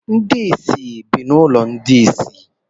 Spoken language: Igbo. Ndị isi bụ n’ụlọ ndi isi